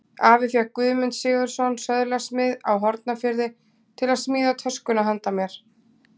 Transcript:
Afi fékk Guðmund Sigurðsson, söðlasmið á Hornafirði, til að smíða töskuna handa mér.